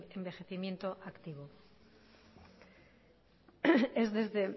envejecimiento activo es desde